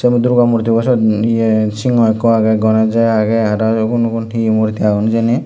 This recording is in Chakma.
yenot durga murtibot syot ye singo ikko agey ganejo agey aro ugun ugun he murti agon hijeni.